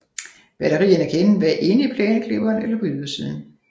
Batterierne kan enten være inde i plæneklipperen eller på ydersiden